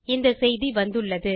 இந்தச் செய்தி வந்துள்ளது